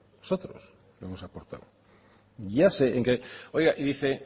nosotros lo hemos aportado ya sé en que oiga y dice